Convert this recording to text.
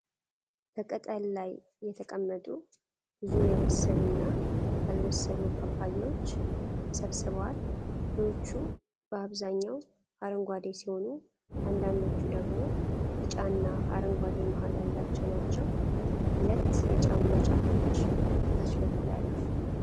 በቅጠል ላይ የተቀመጡ ብዙ የበሰሉ እና ያልበሰሉ ፓፓያዎች ተሰብስበዋል። ፍሬዎቹ በአብዛኛው አረንጓዴ ሲሆኑ፣ አንዳንዶቹ ደግሞ ቢጫና አረንጓዴ መሃል ያላቸው ናቸው። ሁለት የጫማ ጫፎች ከታች በኩል አሉ።